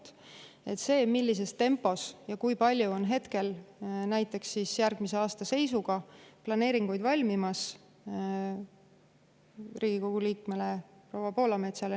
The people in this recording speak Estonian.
Need andmed selle kohta, millises tempos ja kui palju on planeeringuid näiteks järgmise aasta seisuga valmimas, saadan ma kindlasti Riigikogu liikmele proua Poolametsale.